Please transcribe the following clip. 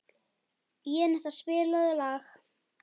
Jenetta, spilaðu lag.